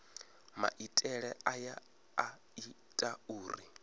maitele aya a ita uri